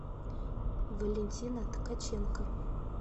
валентина ткаченко